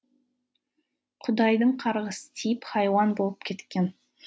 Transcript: құдайдың қарғысы тиіп хайуан болып кеткен